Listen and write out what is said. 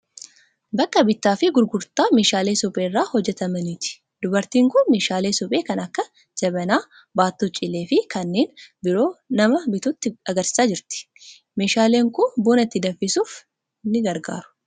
Bakka bittaa fi gurgurtaa meeshaalee suphee irraa hojjetamaniiti. Dubartiin kun meeshaalee suphee kan akka Jabanaa, baattuu cilee fi kanneen biroo nama bitatutti argisiisaa jirti. Meeshaaleen kun buna itti danfisuuf ni gargaaru.